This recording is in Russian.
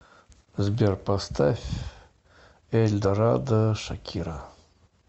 сбер поставь эль дорадо шакира